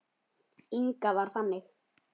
Inga var þannig.